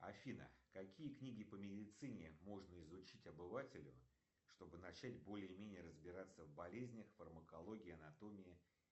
афина какие книги по медицине можно изучить обывателю чтобы начать более менее разбираться в болезнях фармакологии анатомии